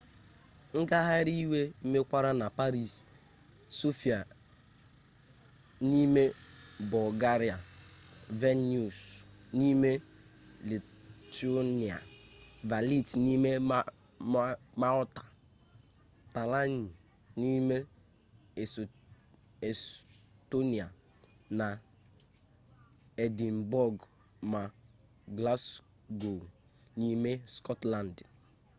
ngagharị iwe mekwara na paris sofia n'ime bulgaria vilnius n'ime lithuania valetta n'ime malta tallinn n'ime estonia na edinburgh ma glasgow n'ime scotland